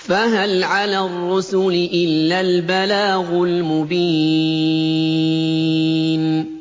فَهَلْ عَلَى الرُّسُلِ إِلَّا الْبَلَاغُ الْمُبِينُ